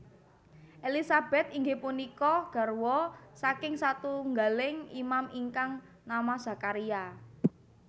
Elisabet inggih punika garwa saking satunggaling Imam ingkang nama Zakharia